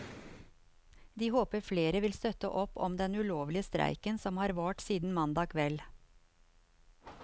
De håper flere vil støtte opp om den ulovlige streiken som har vart siden mandag kveld.